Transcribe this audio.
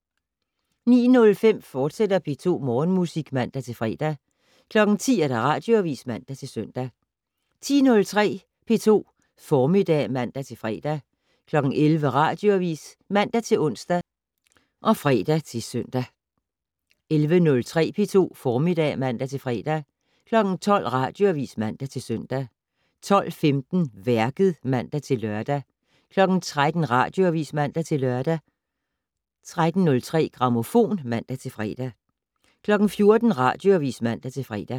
09:05: P2 Morgenmusik, fortsat (man-fre) 10:00: Radioavis (man-søn) 10:03: P2 Formiddag (man-fre) 11:00: Radioavis (man-ons og fre-søn) 11:03: P2 Formiddag (man-fre) 12:00: Radioavis (man-søn) 12:15: Værket (man-lør) 13:00: Radioavis (man-lør) 13:03: Grammofon (man-fre) 14:00: Radioavis (man-fre)